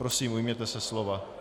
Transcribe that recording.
Prosím, ujměte se slova.